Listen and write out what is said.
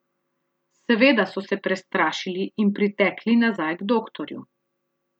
Seveda so se prestrašili in pritekli nazaj k doktorju.